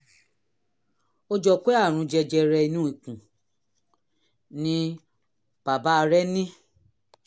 ó jọ pé àrùn jẹjẹrẹ inú ikùn ni bàbá rẹ ní